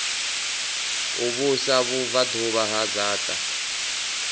u vhusa vhubvaḓuvha ha dzaṱa